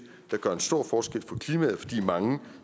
der gør en stor forskel for klimaet fordi mange